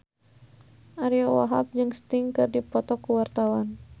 Ariyo Wahab jeung Sting keur dipoto ku wartawan